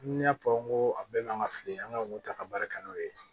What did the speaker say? Ni n y'a fɔ n ko a bɛɛ n'an ka fili an ka ta ka baara kɛ n'o ye